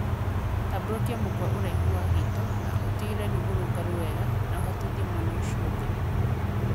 Tambũrũkia mũkũa ũraihuinĩ wa gĩito na ũtigĩrĩre nĩ mũrũngarũ wega na ũhatithie mwena ũcio ũngi